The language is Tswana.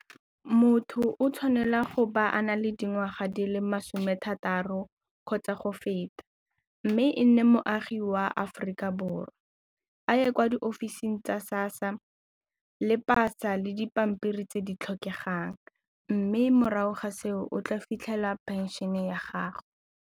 Motho o tshwanela go ba a na le dingwaga di le masome a thataro kgotsa go feta mme e nne moagi wa Aforika Borwa a ye kwa di ofising tsa SASSA le pasa le dipampiri tse di tlhokegang mme morago ga seo o tla fitlhela pension-e ya gago.